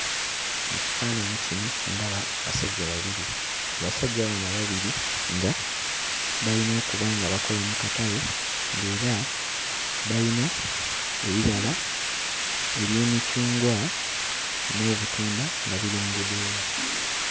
Mu kifaananyi kino ndaba abasajja babiri. Abasajja bano ababiri nga balina okuba nga bakola mu katale ng'era balina ebibala eby'emicungwa n'obutunda nga biri mu budeeya.